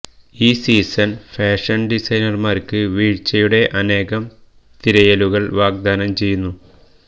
ഈ season fashion ഡിസൈനർമാർക്ക് വീഴ്ച്ചയുടെ അനേകം തിരയലുകൾ വാഗ്ദാനം ചെയ്യുന്നു